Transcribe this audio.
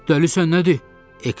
Dəlisən nədir?